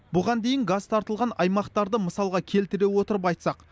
бұған дейін газ тартылған аймақтарды мысалға келтіре отырып айтсақ